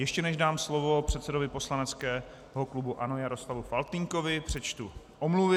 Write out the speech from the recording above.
Ještě než dám slovo předsedovi poslaneckého klubu ANO Jaroslavu Faltýnkovi, přečtu omluvy.